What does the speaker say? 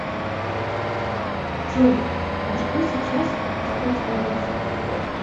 джой а что сейчас воспроизводится